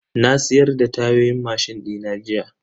Na siyar da tayoyin mashin dina jiya.